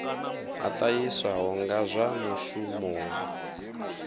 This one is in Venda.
a ṱahiswaho nga zwa mushumoni